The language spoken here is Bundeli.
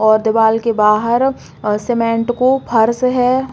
और दिवाल के बाहर सीमेंट को फर्श है।